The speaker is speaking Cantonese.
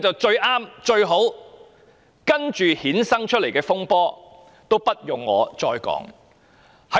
接下來衍生的風波，也不用我再多說了。